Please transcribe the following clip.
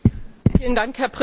Herr Präsident!